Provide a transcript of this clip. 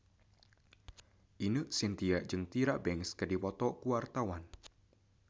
Ine Shintya jeung Tyra Banks keur dipoto ku wartawan